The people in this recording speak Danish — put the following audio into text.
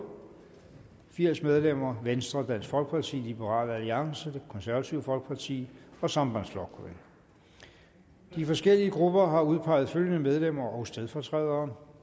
og firs medlemmer venstre dansk folkeparti liberal alliance det konservative folkeparti og sambandsflokkurin de forskellige grupper har udpeget følgende medlemmer og stedfortrædere